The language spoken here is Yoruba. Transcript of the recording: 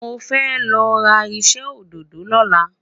mọ fẹ lọra iṣẹ ododo loola